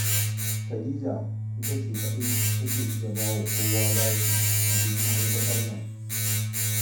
Khadija ita ce kaɗai take iya ba wa kowa bashi a duk ma'aikatar nan